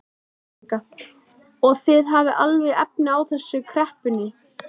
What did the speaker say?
Helga: Og þið hafið alveg efni á þessu í kreppunni?